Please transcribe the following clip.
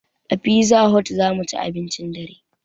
A pizza hot zamuci abincin dare